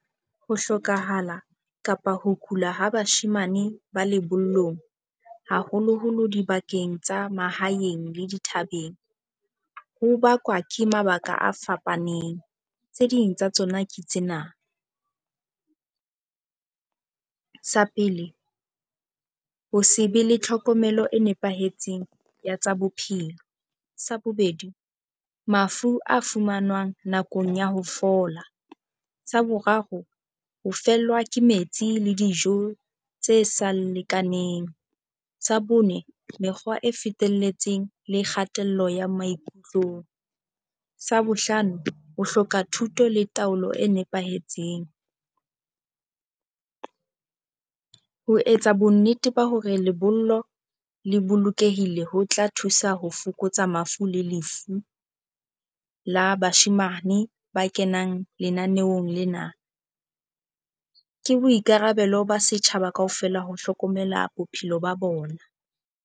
Ho hlokahala kapa ho kula ha bashemane ba lebollong, haholoholo dibakeng tsa mahaeng le dithabeng, ho bakwa ke mabaka a fapaneng. Tse ding tsa tsona ke tsena. Sa pele, ho se be le tlhokomelo e nepahetseng ya tsa bophelo. Sa bobedi, mafu a fumanwang nakong ya ho fola. Sa boraro, ho fellwa ke metsi le dijo tse sa lekaneng. Sa bone, mekgwa e fetelletseng le kgatello ya maikutlong. Sa bohlano, ho hloka thuto le taolo e nepahetseng. Ho etsa bonnete ba hore lebollo le bolokehile, ho tla thusa ho fokotsa mafu le lefu la bashemane ba kenang lenaneong lena. Ke boikarabelo ba setjhaba kaofela ho hlokomela bophelo ba bona.